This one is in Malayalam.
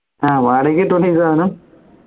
ആഹ് വാടകക്ക് കിട്ടൂല ഈ സാനം